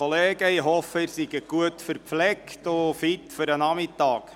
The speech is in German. Ich hoffe, Sie seien gut verpflegt und fit für den Nachmittag.